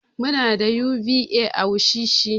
Muna da UBA a wushishi.